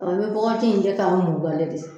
in kɛ ka de